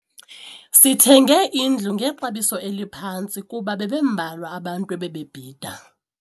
Sithenge indlu ngexabiso eliphantsi kuba bebembalwa abantu ebebebhida.